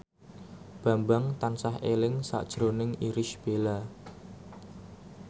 Bambang tansah eling sakjroning Irish Bella